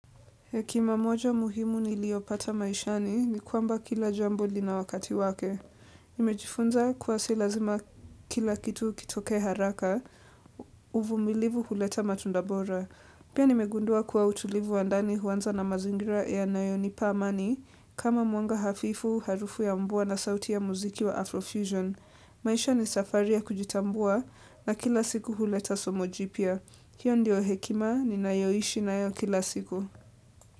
Hekima moja muhimu niliopata maishani ni kwamba kila jambo lina wakati wake. Nimejifunza kuwa si lazima kila kitu kitoke haraka, uvumilivu huleta matunda bora. Pia nimegundua kuwa utulivu wa ndani huanza na mazingira yanayo nipa amani, kama mwanga hafifu, harufu ya mvua na sauti ya muziki wa Afrofusion. Maisha ni safari ya kujitambua na kila siku huleta somo jipya. Hiyo ndio hekima ninayoishi nayo kila siku.